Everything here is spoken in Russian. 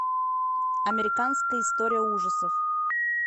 американская история ужасов